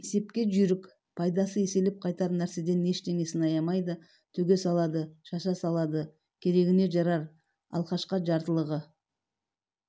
есепке жүйрік пайдасы еселеп қайтар нәрседен ештеңесін аямайды төге салады шаша салады керегіне жарар алкашқа жартылығы